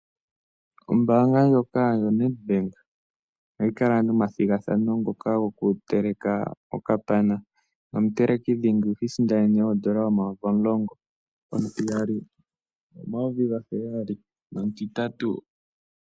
Ombanga ndjoka yo Nedbank ohayi kala momathingathano ngoka goku teleka okapana, nomu teleki dhingi ohisindanene ondola omayovi 10 000,00 omutiyali 7 000,00 nomutitatu 5 000,00